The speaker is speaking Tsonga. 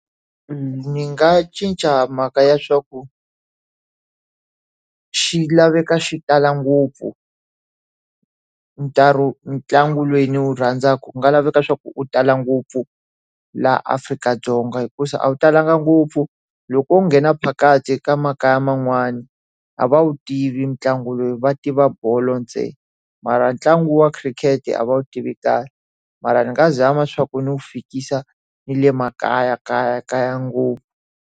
Ndzi nga cinca mhaka ya swa ku, xi laveka xi tala ngopfu ntlangu lowu ndzi wu rhandzaka ku nga laveka swa ku u tala ngopfu laha Afrika-Dzonga hikuva a wu talanga ngopfu. Loko u nghena phakathi ka makaya man'wani, a va wu tivi ntlangu lowu va tiva bolo ntsena. Mara ntlangu wa khirikhete a va wu tivi kahle. Mara ni nga zama swa ku ndzi wu fikisa ni le makaya kaya kaya ngopfu.